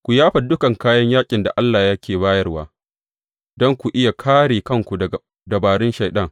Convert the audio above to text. Ku yafa dukan kayan yaƙin da Allah yake bayarwa, don ku iya kāre kanku daga dabarun Shaiɗan.